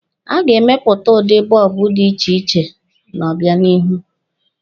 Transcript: A ga-emepụta udi bọọbụ dị iche iche n'obịanihu.